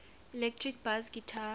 electric bass guitar